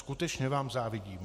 Skutečně vám závidím.